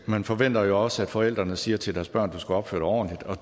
man forventer også at forældrene siger til deres barn du skal opføre dig ordentligt og